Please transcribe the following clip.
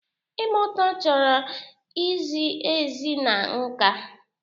Ịgba ụta chọrọ izi ezi na nka.